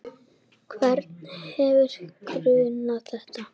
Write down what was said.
Hvern hefði grunað þetta?